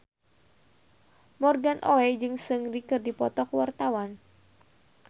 Morgan Oey jeung Seungri keur dipoto ku wartawan